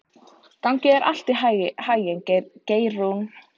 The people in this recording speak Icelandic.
Gangi þér allt í haginn, Geirrún.